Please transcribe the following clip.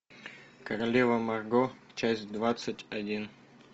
королева марго часть двадцать один